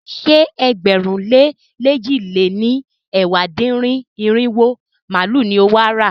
Ṣé ẹgbẹ̀rún lé lèjì lé ní ẹ̀wá dín-ní-irinwó màálu ni o wà á rà?